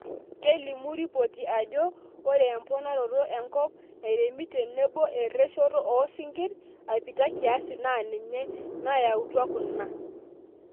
Kelimu ripoti ajo ore emponaroto enkop nairemi tenebo ereshoto oo sinkirr aipita kiasi naa ninye naayautua kuna.